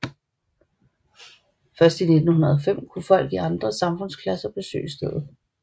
Først i 1905 kunne folk i andre samfundsklasser besøge stedet